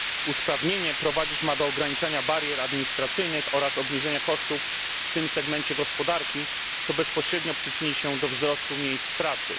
Usprawnienie prowadzić ma do ograniczenia barier administracyjnych oraz obniżenia kosztów w tym segmencie gospodarki, co bezpośrednio przyczyni się do wzrostu miejsc pracy.